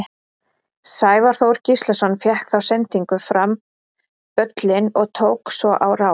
Sævar Þór Gíslason fékk þá sendingu fram völlinn og tók svo á rás.